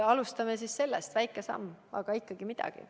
Alustame sellest – väike samm, aga ikkagi midagi.